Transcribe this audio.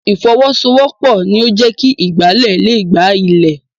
Ìfọwọ́sowọ́pọ̀ ni o jẹ kí ìgbálẹ̀ le gba ilẹ̀.